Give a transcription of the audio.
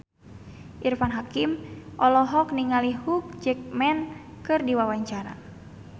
Irfan Hakim olohok ningali Hugh Jackman keur diwawancara